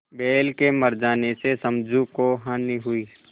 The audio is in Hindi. बैल के मर जाने से समझू को हानि हुई